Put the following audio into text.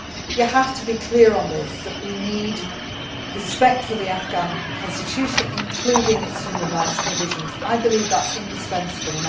We have to be clear that we need respect for the Afghan constitution, including its human rights provisions I believe that is indispensable.